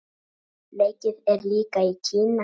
Leikið er í Kína.